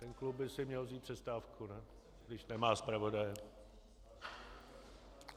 Ten klub by si měl vzít přestávku, ne, když nemá zpravodaje.